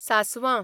सासवां